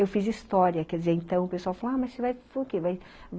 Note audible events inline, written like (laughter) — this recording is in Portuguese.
Eu fiz história, quer dizer, então o pessoal falou, ah, mas você vai (unintelligible)